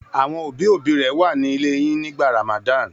Àwọn òbí-òbí rẹ wà nílé yín nígbà Ramadan?